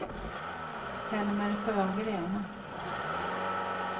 Helmer Sjögren